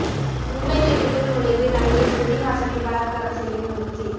மும்பை வீட்டுக்குள் நுழைந்து நடிகை ஸ்ருதி ஹாசனை பலாத்காரம் செய்ய முயற்சி